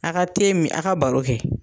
A ka min a ka baro kɛ